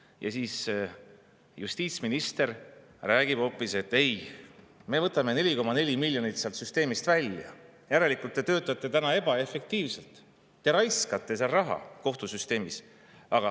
Ja siis räägib justiitsminister hoopis, et ei, me võtame 4,4 miljonit sealt süsteemist välja, järelikult te töötate täna ebaefektiivselt, te raiskate raha kohtusüsteemis.